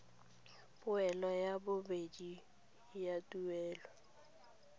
poelo ya bobedi ya tuelo